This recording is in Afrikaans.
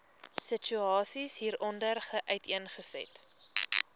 situasie hieronder uiteengesit